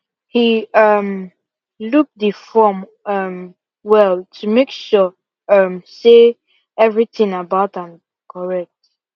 he um look the form um well to make sure um say everything about am correct